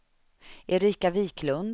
Erika Wiklund